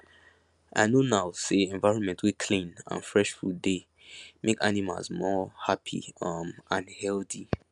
i know now say environment wey clean and fresh food dey make animals more happy um and healthy